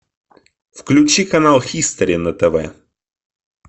включи канал хистори на тв